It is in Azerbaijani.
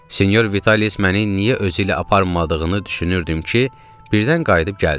Sinyor Vitalis məni niyə özü ilə aparmadığını düşünürdüm ki, birdən qayıdıb gəldi.